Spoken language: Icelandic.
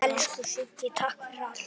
Elsku Sigga, takk fyrir allt.